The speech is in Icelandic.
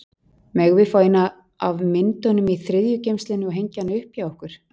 Megum við fá eina af myndunum í þriðju geymslunni og hengja hana upp hjá okkur?